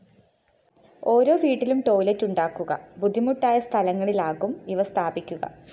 ഓരോ വീട്ടിലും ടോയ്‌ലറ്റുണ്ടാക്കുക ബുദ്ധിമുട്ടായ സ്ഥലങ്ങളിലാകും ഇവ സ്ഥാപിക്കുക